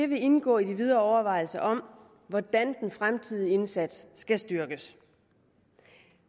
vil indgå i de videre overvejelser om hvordan den fremtidige indsats skal styrkes